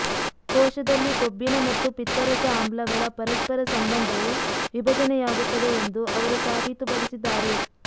ಕೋಶದಲ್ಲಿ ಕೊಬ್ಬಿನ ಮತ್ತು ಪಿತ್ತರಸ ಆಮ್ಲಗಳ ಪರಸ್ಪರ ಸಂಬಂಧವು ವಿಭಜನೆಯಾಗುತ್ತದೆ ಎಂದು ಅವರು ಸಾಬೀತುಪಡಿಸಿದ್ದಾರೆ